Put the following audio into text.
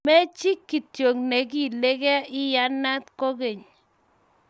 Machi kityo neigiiligei, iyanat kogeny